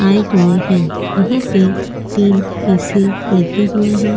आये हुए है यहाँ पे तीन ऐ.सी लगे हुए है।